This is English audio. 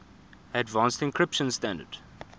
advanced encryption standard